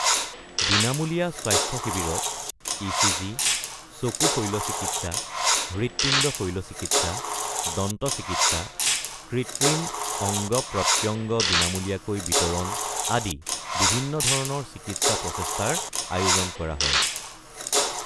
বিনামূলীয়া স্বাস্থ্য শিবিৰত ইচিজি, চকু শল্যচিকিৎসা, হৃৎপিণ্ড শল্যচিকিৎসা, দন্তচিকিৎসা, কৃত্ৰিম অঙ্গ-প্ৰত্যঙ্গ বিনামূলীয়াকৈ বিতৰণ আদি বিভিন্ন ধৰণৰ চিকিৎসা প্ৰচেষ্টাৰ আয়োজন কৰা হয়।